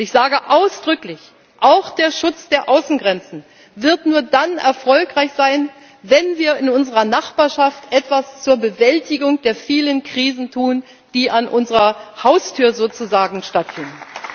Und ich sage ausdrücklich Auch der Schutz der Außengrenzen wird nur dann erfolgreich sein, wenn wir in unserer Nachbarschaft etwas zur Bewältigung der vielen Krisen tun, die sozusagen an unserer Haustür stattfinden.